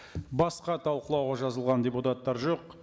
басқа талқылауға жазылған депутаттар жоқ